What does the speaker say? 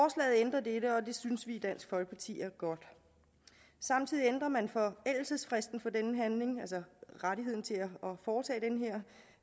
det synes vi i dansk folkeparti er godt samtidig ændrer man forældelsesfristen for den handling altså rettigheden til